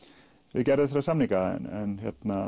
við gerð þessara samninga en